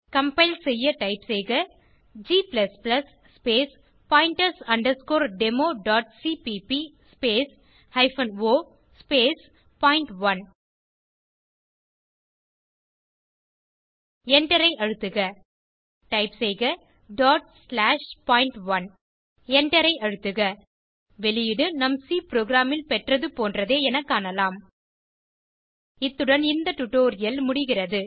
compile செய்ய type செய்க g space pointers democpp space hyphen o space point one Enter ஐ அழுத்துக டைப் செய்க டாட் ஸ்லாஷ் பாயிண்ட்1 Enter ஐ அழுத்துக வெளியீடு நம் சி புரோகிராம் ல் பெற்றது போன்றதே என காணலாம் இத்துடன் இந்த டுடோரியல் முடிகிறது